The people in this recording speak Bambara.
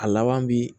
A laban bi